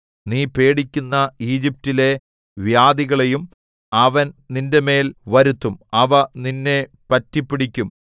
നീ പേടിക്കുന്ന ഈജിപ്റ്റിലെ വ്യാധികളെല്ലാം അവൻ നിന്റെമേൽ വരുത്തും അവ നിന്നെ പറ്റിപ്പിടിക്കും